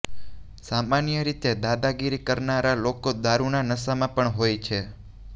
સામાન્ય રીતે દાદાગીરી કરનારા લોકો દારૂના નશામાં પણ હોય છે